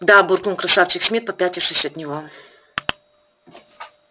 да буркнул красавчик смит попятившись от него